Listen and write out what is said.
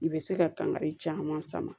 I bɛ se ka kankari caman sama